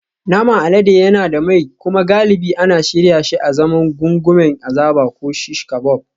Naman alade yana da mai kuma galibi ana shirya shi azaman gungumen azaba ko shish kabob